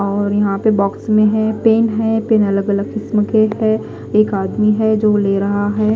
और यहा पे बॉक्स में है पेन है पेन अलग अलग किस्म के है एक आदमी है जो ले रहा है।